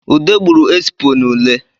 Ude gburu esipo n’ule